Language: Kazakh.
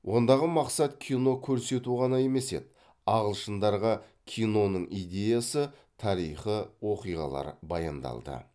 ондағы мақсат кино көрсету ғана емес еді ағылшындарға киноның идеясы тарихы оқиғалары баяндалды